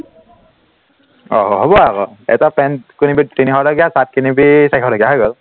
অ হব আকৌ, এটা pant কিনিবি তিনিশ টকীয়া shirt কিনিবি চাৰিশ টকীয়া হৈ গল